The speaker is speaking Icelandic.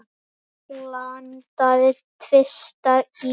Dögg landaði tvisvar í gær.